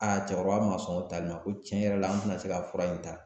cɛkɔrɔba ma sɔn o tali ma ko tiɲɛ yɛrɛ la an tɛna se ka fura in ta